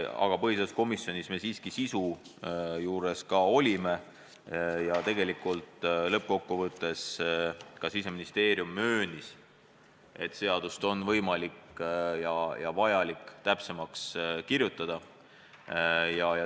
Aga põhiseaduskomisjonis me siiski arutasime ka sisu ja lõppkokkuvõttes ka Siseministeerium möönis, et seadust on võimalik ja vajalik täpsemaks kirjutada.